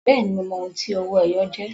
Bẹ́ẹ̀ni, mo mọ ohun tí owó-ẹyọ jẹ́